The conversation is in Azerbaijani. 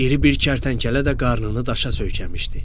İri bir kərtənkələ də qarnını daşa söykəmişdi.